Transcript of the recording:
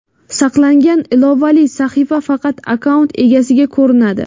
Saqlangan ilovali sahifa faqat akkaunt egasiga ko‘rinadi.